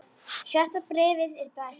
Sjötta bréfið er best.